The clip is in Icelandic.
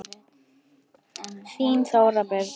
Þín Þóra Birna.